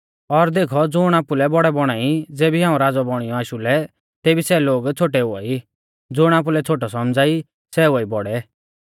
और देखौ ज़ुण आपुलै बौड़ै बौणा ई ज़ेबी हाऊं राज़ौ बौणियौ आशु लै तेबी सै लोग छ़ोटै हुआई ज़ुण आपुलै छ़ोटै सौमझ़ा ई सै हुआई बौड़ै